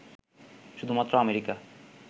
শুধুমাত্র আমেরিকা